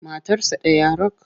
Matarsa ɗaya rak.